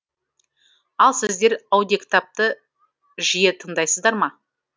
ал сіздер аудиокітапты жиі тыңдайсыздар ма